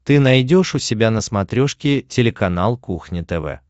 ты найдешь у себя на смотрешке телеканал кухня тв